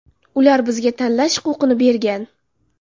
Ular bizga tanlash huquqini bergan.